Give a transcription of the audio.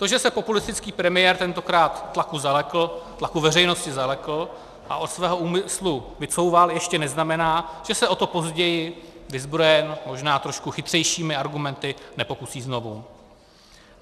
To, že se populistický premiér tentokrát tlaku veřejnosti zalekl a od svého úmyslu vycouval, ještě neznamená, že se o to později, vyzbrojen možná trošku chytřejšími argumenty, nepokusí znovu.